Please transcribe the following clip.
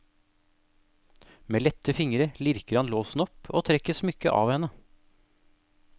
Med lette fingre lirker han låsen opp og trekker smykket av henne.